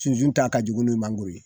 Sunsun ta ka jugun ni mangoro ye